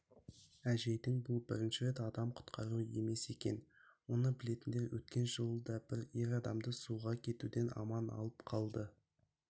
әжейдің бұл бірінші рет адам құтқаруы емес екен оны білетіндер өткен жылы да бір ер адамды суға кетуден аман алып қалды